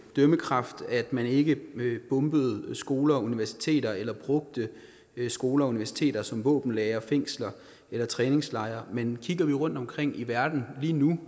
dømmekraft at man ikke bomber skoler og universiteter eller bruger skoler og universiteter som våbenlagre fængsler eller træningslejre men kigger vi rundtomkring i verden lige nu